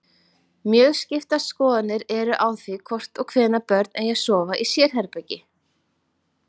Mjög skiptar skoðanir eru á því hvort og hvenær börn eigi að sofa í sérherbergi.